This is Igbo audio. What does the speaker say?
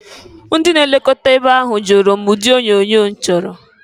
Ndị na-elokọta ebe ahụ jụrụ m ụdị onyoonyo m chọrọ.